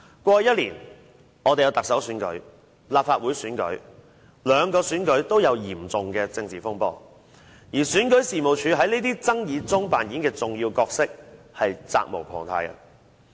過去一年，我們曾舉行行政長官選舉和立法會選舉，兩個選舉均出現嚴重的政治風波，而選舉事務處在這些爭議中所扮演的重要角色，是責無旁貸的。